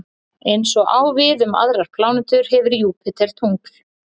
Eins og á við um aðrar plánetur hefur Júpíter tungl.